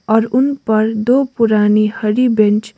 और उन पर दो पुरानी हरी बेंच --